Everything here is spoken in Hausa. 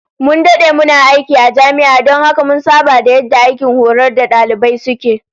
Mun dade muna aiki a jami'a don haka mun saba da yadda aikin horar da dalibai suke